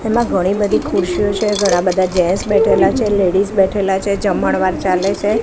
તેમા ઘણી બધી ખુરશીઓ છે ઘણા બધા જેન્ટ્સ બેઠેલા છે લેડીઝ બેઠેલા છે જમણવાર ચાલે છે.